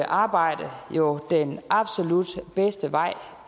arbejde jo den absolut bedste vej